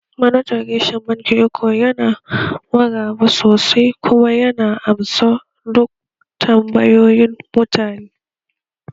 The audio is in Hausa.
Manajan reshen bankin Eco yana maraba sosai kuma yana amsa duk tambayoyin mutane